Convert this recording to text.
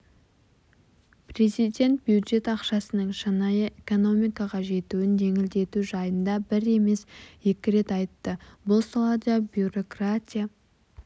президент бюджет ақшасының шынайы экономикаға жетуін жеңілдету жайында бір емес екі рет айтты бұл салада бюрократия